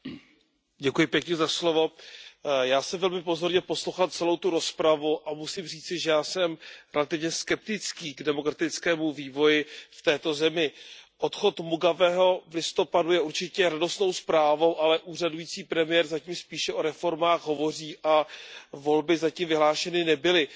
Pane předsedající, já jsem velmi pozorně poslouchal celou tu rozpravu a musím říci, že já jsem relativně skeptický k demokratickému vývoji v této zemi. Odchod Mugabeho v listopadu je určitě radostnou zprávou, ale úřadující premiér zatím spíše o reformách hovoří a volby zatím vyhlášeny nebyly.